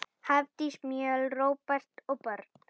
Hafdís Mjöll, Róbert og börn.